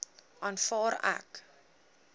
aanvaar ek